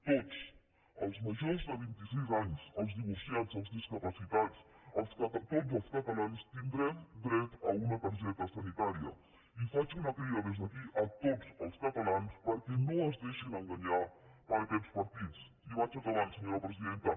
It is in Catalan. tots els majors de vint i sis anys els divorciats els discapacitats tots els catalans tindrem dret a una targeta sanitària i faig una crida des d’aquí a tots els catalans perquè no es deixin enganyar per aquests partits i vaig acabant senyora presidenta